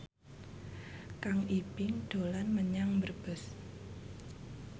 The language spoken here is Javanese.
Kang Ibing dolan menyang Brebes